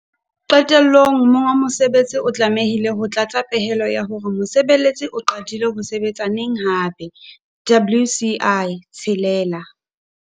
Qetellong monga mosebetsi o tlamehile ho tlatsa pehelo ya hore mosebeletsi o qadile ho sebetsa hape neng - WCI 6.